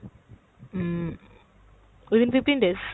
Um within fifteen days।